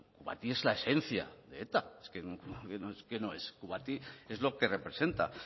kubati es la esencia de eta kubati es lo que representa